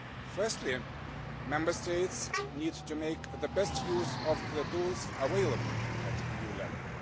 Firstly, Member States need to make the best use of the tools available at EU level.